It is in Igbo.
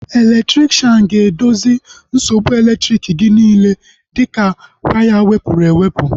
Elektrikshan ga-edozi nsogbu elektriki gị niile dịka waya wepụrụ ewepụ